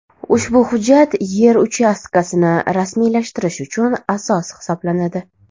Ushbu hujjat yer uchastkasini rasmiylashtirish uchun asos hisoblanadi.